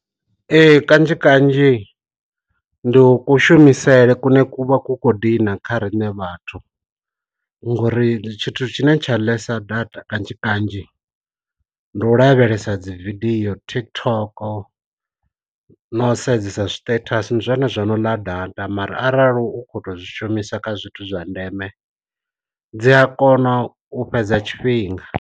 Ee kanzhi kanzhi ndi u kushumisele kunwe ku vha khou kho dina kha riṋe vhathu, ngori tshithu tshine tsha ḽesa data kanzhi kanzhi ndi u lavhelesa dzi vidio TikTok no sedzesa stethasi, ndi zwone zwa no ḽa data mara arali u kho to zwi shumiswa kha zwithu zwa ndeme dzi a kona u fhedza tshifhinga.